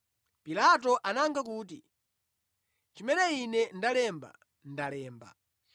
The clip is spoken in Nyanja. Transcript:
Pilato anayankha kuti, “Chimene ine ndalemba, ndalemba.”